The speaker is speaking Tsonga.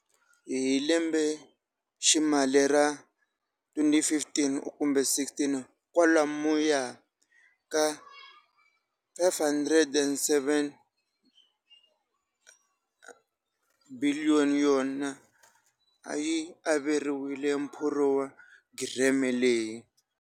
Hi lembeximali ra 2015 kumbe 16, kwalomuya ka R5 703 biliyoni a yi averiwile phurogireme leyi.